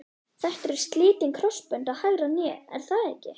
Þetta eru slitin krossbönd á hægra hné er það ekki?